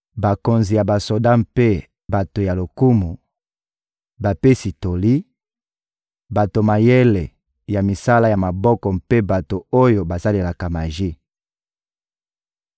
bakonzi ya basoda mpe bato ya lokumu, bapesi toli, bato mayele ya misala ya maboko mpe bato oyo basalelaka maji.